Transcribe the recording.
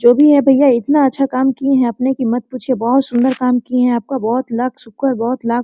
जो भी है भैया इतना अच्छा काम किए है आपने की मत पूछिय बहुत सुंदर काम किय है आपका बहुत लाख शुक्र बहुत लाख --